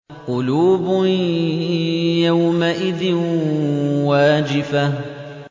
قُلُوبٌ يَوْمَئِذٍ وَاجِفَةٌ